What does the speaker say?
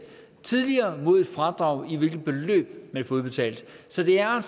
tidligere mod et fradrag i det beløb man får udbetalt så det er